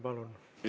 Palun!